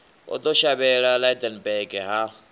o ḓo shavhela lydenburg ha